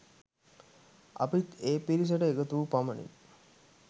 අපිත් ඒ පිරිසට එකතු වූ පමණින්